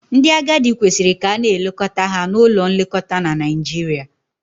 Ndị agadi kwesịrị ka a na-elekọta ha na ụlọ nlekọta na Naijiria.